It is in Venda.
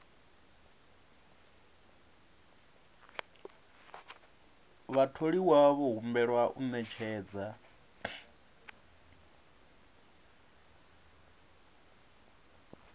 vhatholiwa vho humbelwa u ṅetshedza